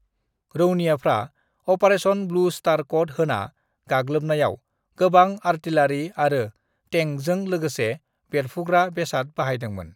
रौनियाफ्रा operation blue star कद होना गाग्लोबनायाव गोबां आरटिलारि आरो तेंकजों लोगोसे बेरफ्रुग्रा बेसाद बाहायदोंमोन।